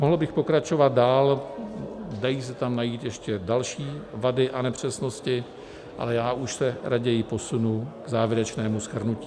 Mohl bych pokračovat dál, dají se tam najít ještě další vady a nepřesnosti, ale já už se raději posunu k závěrečnému shrnutí.